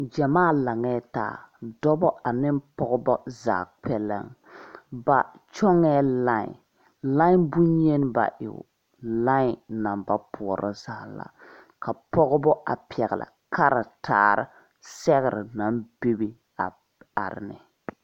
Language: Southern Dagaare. Gyamaa laŋɛɛ taa dɔbɔ ane pɔgebɔ zaa kpɛlɛŋ ba kyɔŋɛɛ lai lai bonyeni ba e o lai naŋ ba poɔrɔ zaa la ka pɔgebɔ a pɛgle karitaare sɛgre naŋ bebe a are ne.